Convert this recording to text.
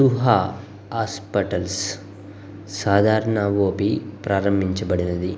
ఊహ హాస్పిటల్స్ సాధారణ ఓపి ప్రారంభించబడినది.